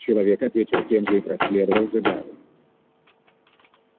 человек ответил тем же и проследовал за гаалом